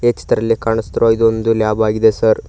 ಈ ಚಿತ್ರದಲ್ಲಿ ಕಾಣಿಸುತ್ತಿರುವಾಗೆ ಇದು ಒಂದು ಲ್ಯಾಬ್ ಆಗಿದೆ ಸರ್ .